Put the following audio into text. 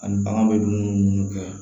Ani bagan bɛ dumuni minnu kɛ